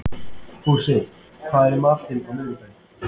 Fúsi, hvað er í matinn á miðvikudaginn?